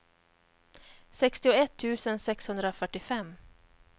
sextioett tusen sexhundrafyrtiofem